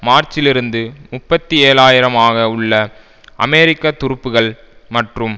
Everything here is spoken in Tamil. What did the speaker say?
மார்ச்சிலிருந்து முப்பத்தி ஏழு ஆயிரம் ஆக உள்ள அமெரிக்க துருப்புக்கள் மற்றும்